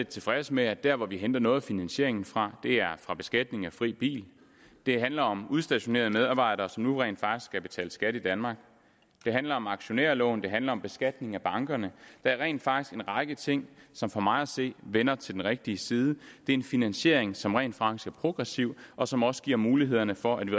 tilfreds med at der hvor vi henter noget af finansieringen fra er fra beskatningen af fri bil det handler om udstationerede medarbejdere som nu rent faktisk skal betale skat i danmark det handler om aktionærloven det handler om beskatning af bankerne der er rent faktisk en række ting som for mig at se hælder til den rigtige side det er en finansiering som rent faktisk er progressiv og som også giver muligheden for at vi